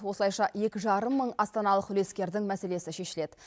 осылайша екі жарым мың астаналық үлескердің мәселесі шешіледі